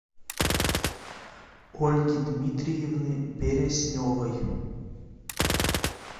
ольги дмитриевны бересневой